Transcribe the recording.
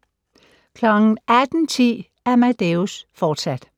18:10: Amadeus, fortsat